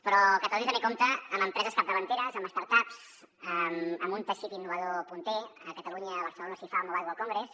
però catalunya també compta amb empreses capdavanteres amb start ups amb un teixit innovador punter a catalunya a barcelona s’hi fa el mobile world con·gress